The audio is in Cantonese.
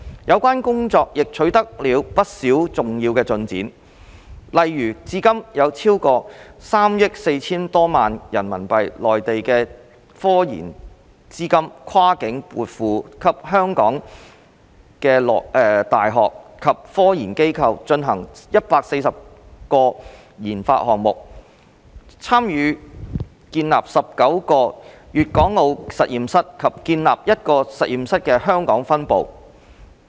有關工作亦取得了不少重要進展，例如至今已有超過3億 4,000 多萬元人民幣內地科研資金跨境撥付給本地的大學及科研機構，進行約140個研發項目、參與建立19個粵港澳實驗室及建立一個實驗室的香港分部。